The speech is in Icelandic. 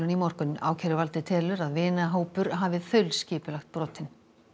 í morgun ákæruvaldið telur að vinahópur hafi þaulskipulagt brotin